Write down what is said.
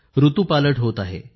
ऋतूपालट होत आहे